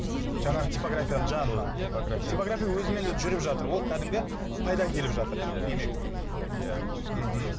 жаңағы типографияның жанынан типография өзімен өзі жүріп жатыр ол кәдімгі пайда әкеліп жатыр иә демек иә мхм